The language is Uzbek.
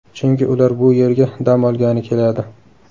Chunki ular bu yerga dam olgani keladi.